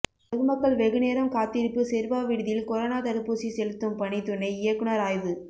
பொதுமக்கள் வெகுநேரம் காத்திருப்பு செருவாவிடுதியில் கொரோனா தடுப்பூசி செலுத்தும் பணி துணை இயக்குநர் ஆய்வு